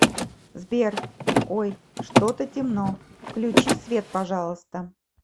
сбер ой что то темно включи свет пожалуйста